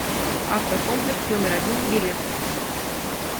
автокомплекс номер один билет